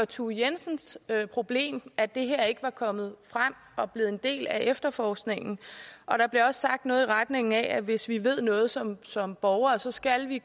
thue jensens problem at det her ikke var kommet frem var blevet en del af efterforskningen der blev også sagt noget i retning af at hvis vi ved noget som som borgere så skal vi